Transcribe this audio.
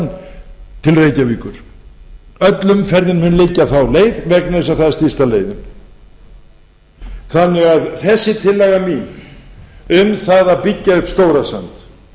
til reykjavíkur öll umferð mun liggja þá leið vegna þess að það er stysta leiðin þessi tillaga mín því um að byggja upp stórasand